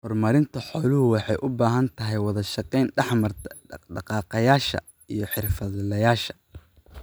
Horumarinta xooluhu waxay u baahan tahay wada shaqayn dhex marta dhaq-dhaqaaqayaasha iyo xirfadlayaasha.